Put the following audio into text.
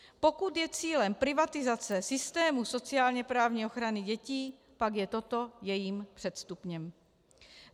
Pokud je cílem privatizace systému sociálně-právní ochrany dětí, pak je toto jejím předstupněm.